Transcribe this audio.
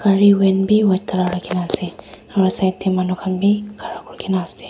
gari van bi white colour rakhina ase aro side tae manu khan bi khara kurikena ase.